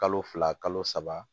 Kalo fila kalo saba